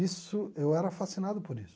Isso eu era fascinado por isso.